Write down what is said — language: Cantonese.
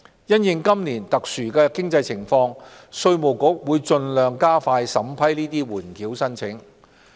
因應今年特殊的經濟情況，稅務局會盡量加快審批緩繳申請。